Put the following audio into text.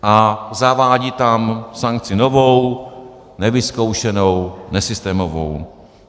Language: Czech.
A zavádí tam sankci novou, nevyzkoušenou, nesystémovou.